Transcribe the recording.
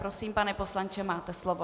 Prosím, pane poslanče, máte slovo.